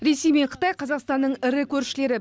ресей мен қытай қазақстанның ірі көршілері